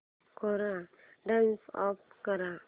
कोरा turn off कर